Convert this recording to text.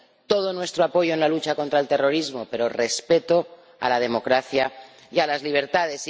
Todo nuestro apoyo en la lucha contra el terrorismo, pero respeto de la democracia y de las libertades.